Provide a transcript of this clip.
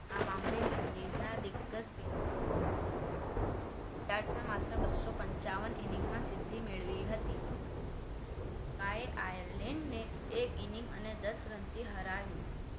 આ મામલે વિનડીનગસ ના દિગજ batsmen વિલિયમ માત્ર બસો પન્ચ્યાવન inning માં સિદ્ધિ મેળવી હતી શ્રીલંકા એ આયર્લેન્ડને એક inning અને દસ રનથી હરાવી